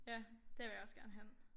Ja der vil jeg også gerne hen